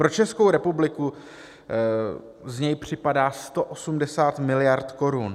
Pro Českou republiku z něj připadá 180 mld. korun.